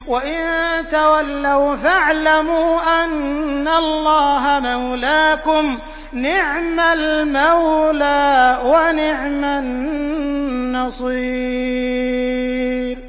وَإِن تَوَلَّوْا فَاعْلَمُوا أَنَّ اللَّهَ مَوْلَاكُمْ ۚ نِعْمَ الْمَوْلَىٰ وَنِعْمَ النَّصِيرُ